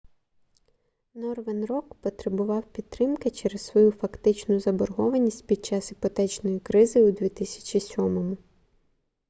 норверн рок потребував підтримки через свою фактичну заборгованість під час іпотечної кризи у 2007